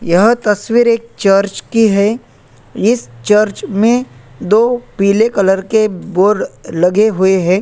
यह तस्वीर एक चर्च की है इस चर्च में दो पीले कलर के बोर्ड लगे हुए हैं।